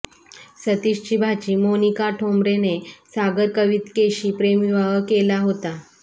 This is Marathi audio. सतीशची भाची मोनिका ठोंबरेने सागर कवितकेशी प्रेमविवाह केला होता